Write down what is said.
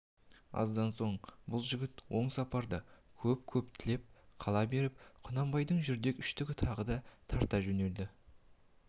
аздан соң бұл жігіт оң сапарды көп-көп тілеп қала беріп құнанбайдың жүрдек үштігі тағы да тарта жөнелді